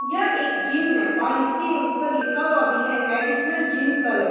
यह एक जिम है और इसके ऊपर लिखा हुआ भी है एडिशनल जिम क्लब ।